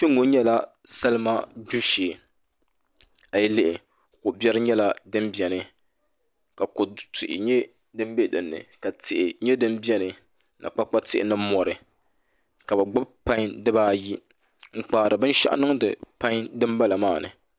Kpɛŋŋo nyɛla salima gbibu shee a yi lihi ko biɛri nyɛla din biɛni ka kodu tihi nyɛ din bɛ dinni ka tihi nyɛ din biɛni ka kpakpa tihi ni mori ka bi gbubi pai dibaayi n kpaari binshaɣu niŋdi pai dinbala maa ni